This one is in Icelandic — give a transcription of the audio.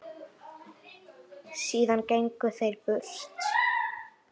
Síðan gengu þeir burt.